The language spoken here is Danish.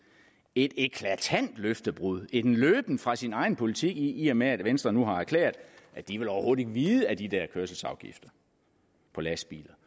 et eklatant løftebrud en løben fra sin egen politik i og med at venstre nu har erklæret at de overhovedet vide af de der kørselsafgifter på lastbiler